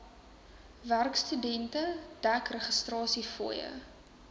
werkstudente dek registrasiefooie